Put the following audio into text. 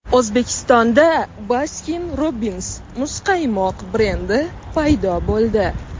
O‘zbekistonda Baskin Robbins muzqaymoq brendi paydo bo‘ldi.